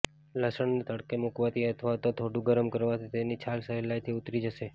લસણને તડકે મૂકવાથી અથવા તો થોડું ગરમ કરવાથી તેની છાલ સહેલાઇથી ઉતરી જશે